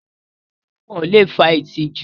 Awọn arùn awọ̀ le fà ìtìjú.